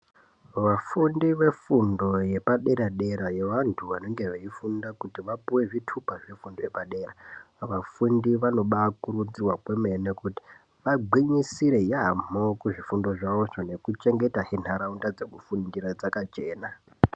Vafundi vefundo yepadera-dera yevantu vanenge veifunda kuti vapive zvitupa zvefundo yepadera. Vafundi vanoba kurudzirwa kwemene kuti vagwinyisire yaamho kuzvifundo zvavozvo nekuchengetahe nharaunda dzekufundira dzakachena.